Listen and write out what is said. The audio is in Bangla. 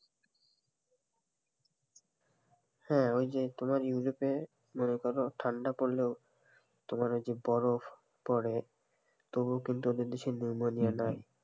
হ্যাঁ, ওই যে তোমার ইউরোপে মনে করো ঠান্ডা পড়লোও তোমার ওই যে বরফ পরে তবু কিন্তু ওদের দেশে নিউমোনিয়া নাই,